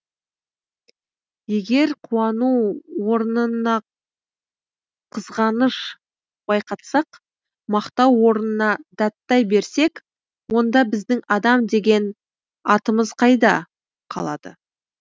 егер қуану орнына қызғаныш байқатсақ мақтау орнына даттай берсек онда біздің адам деген атымыз қайда қалады